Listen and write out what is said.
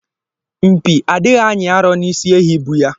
Mpi adịghị anyị arọ n'isi ehi bụ ya.